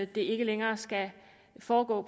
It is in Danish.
det ikke længere skal foregå